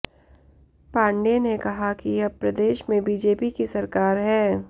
पांडेय ने कहा कि अब प्रदेश में बीजेपी की सरकार है